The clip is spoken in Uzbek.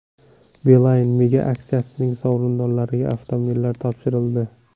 Beeline Mega Aksiyasining sovrindorlariga avtomobillar topshirildi.